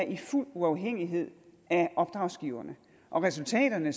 i fuld uafhængighed af opdragsgiverne og resultaterne